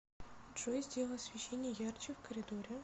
джой сделай освещение ярче в коридоре